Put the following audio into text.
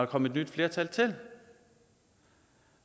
kom et nyt flertal